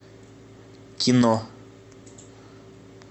кино